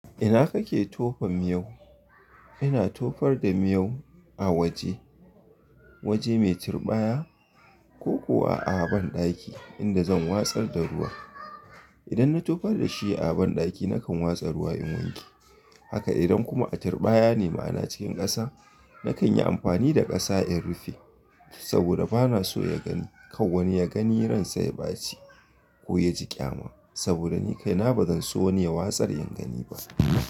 Ina kake tofa miyau? Ina tofar da miyau a waje waje mai turɓaya ko kuwa a banɗaki inda zan watsar da ruwa. Idan na tofar da shi a banɗaki nakan watsa ruwa in wanke haka idan kuma a turɓaya ne ma ana cikin ƙasa. Nakan yi amfani da ƙasa in rufe saboda ba na so ya gani. Kawanni ya gani, ransai ba ci ko ya ji ƙyama saboda ni kaina ba zan so wani ya watsar in gani ba.